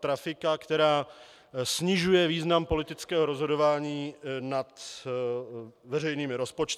trafika, která snižuje význam politického rozhodování nad veřejnými rozpočty.